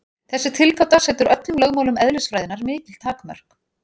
Þessi tilgáta setur öllum lögmálum eðlisfræðinnar mikil takmörk.